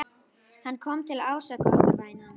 Hann kom til að ásaka okkur, vænan.